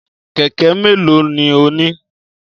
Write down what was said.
Kẹ̀kẹ́ méèló ni o ní?